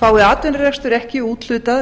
fái atvinnurekstur ekki úthlutað